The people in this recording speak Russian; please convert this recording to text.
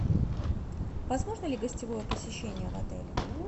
возможно ли гостевое посещение в отеле